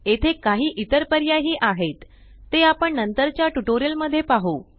येथे काही इतर पर्याय ही आहेत ते आपण नंतर च्या ट्यूटोरियल मध्ये पाहु